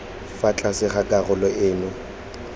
fa tlase ga karolo eno